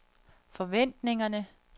forventningerne